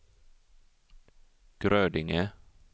Grödinge